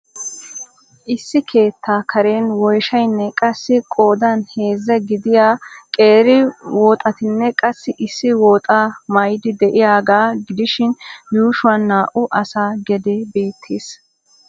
Issi keettaa karen woyshsaynne qassi qoodan heezzaa gidiya qeeri woxxatinne qassi issi woxaa maydee di'iyaagaa gidishin yuushuwaan naa'u asaa gedee bettees.